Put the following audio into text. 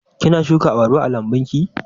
Kina shuka abarba a lambun ki?